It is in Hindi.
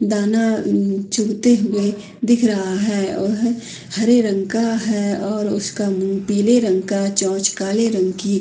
दाना चुभते हुए दिख रहा है वह हरे रंग का है और उसका मुँह पिले रंग का चोंच काले रंग की --